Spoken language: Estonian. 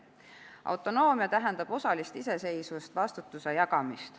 Autonoomia tähendab osalist iseseisvust, vastutuse jagamist.